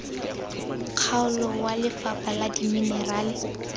kgaolo wa lefapha la dimenerale